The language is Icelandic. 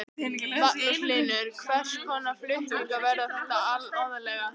Magnús Hlynur: Hvers konar flutningar verða þetta aðallega?